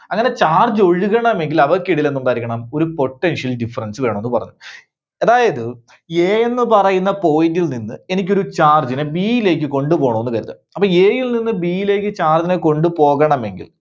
അങ്ങനെ charge ഒഴുകണമെങ്കിൽ അവർക്ക് ഇടയിൽ എന്ത് ഉണ്ടായിരിക്കണം? ഒരു Potential Difference വേണമെന്നു പറഞ്ഞു. അതായത് A എന്ന് പറയുന്ന point ൽ നിന്ന് എനിക്കൊരു charge നെ B യിലേക്ക് കൊണ്ടുപോണോന്ന് കരുതുക. അപ്പോ A യിൽ നിന്ന് B യിലേക്ക് charge നെ കൊണ്ടുപോകണമെങ്കിൽ